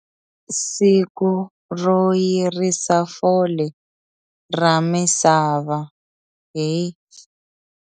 Siku ro Yirisa Fole ra Misava hi.